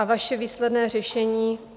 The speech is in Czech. A vaše výsledné řešení?